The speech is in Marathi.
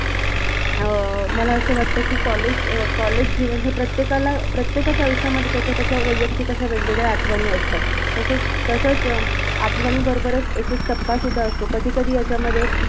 अं मला अस वाटत कि college अं college जीवन हे प्रत्येकाला, प्रत्येकाच्या आयुष्यामध्ये त्याच्या त्याच्या वैयक्तिक अशा वेगवेगळ्या आठवणी असतात, तसच तसच अं आठवणी बरोबरच एक एक टप्पा सुध्दा असतो कधीकधी याच्यामध्ये